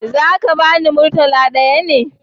Za ka bani murtala ɗaya ne?